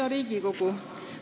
Hea Riigikogu!